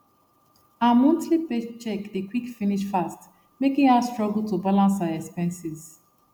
her monthly paycheck dey quick finish fast making her struggle to balance her expenses